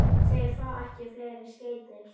Þeir fá ekki fleiri skeyti